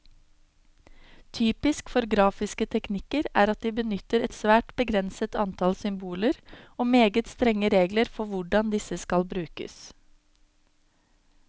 Typisk for grafiske teknikker er at de benytter et svært begrenset antall symboler, og meget strenge regler for hvordan disse skal brukes.